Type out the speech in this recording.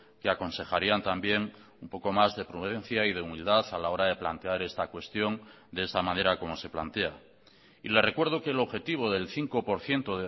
que aconsejarían también un poco más de prudencia y de humildad a la hora de plantear esta cuestión de esta manera como se plantea y le recuerdo que el objetivo del cinco por ciento